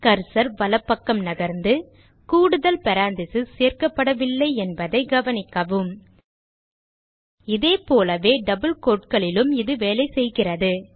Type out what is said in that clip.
cursor வலப்பக்கம் நகர்ந்து கூடுதல் பேரெந்தசிஸ் சேர்க்கப்படவில்லை என்பதை கவனிக்கவும் இதேபோலவே டபிள் quoteகளிலும் இது வேலை செய்கிறது